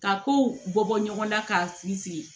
Ka kow bɔ ɲɔgɔnna k'a fili